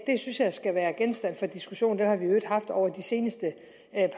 synes jeg skal være genstand for diskussion den har vi i øvrigt haft over de seneste